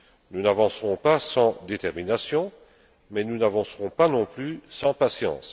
évidence. Nous n'avancerons pas sans détermination, mais nous n'avancerons pas non plus sans